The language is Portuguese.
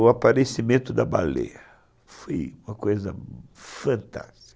O aparecimento da baleia foi uma coisa fantástica.